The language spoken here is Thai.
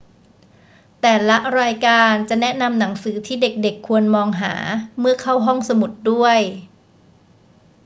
แต่ละรายการจะแนะนำหนังสือที่เด็ก ๆ ควรมองหาเมื่อเข้าห้องสมุดด้วย